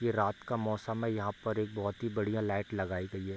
ये रात का मौसम है यहाँ पर एक बहुत ही बढ़िया लाइट लगाई गई है।